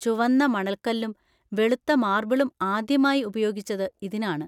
ചുവന്ന മണൽക്കല്ലും വെളുത്ത മാർബിളും ആദ്യമായി ഉപയോഗിച്ചത് ഇതിനാണ്.